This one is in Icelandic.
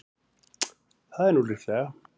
Það er nú líklega.